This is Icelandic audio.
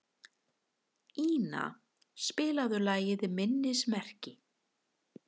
Ina, spilaðu lagið „Minnismerki“.